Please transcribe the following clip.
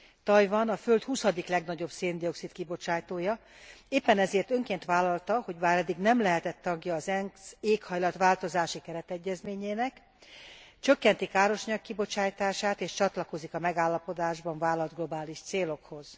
Tajvan a föld huszadik legnagyobb szén dioxid kibocsátója, éppen ezért önként vállalta, hogy bár eddig nem lehetett tagja az ENSZ éghajlat változási keretegyezményének, csökkenti károsanyag kibocsátását és csatlakozik a megállapodásban vállalt globális célokhoz.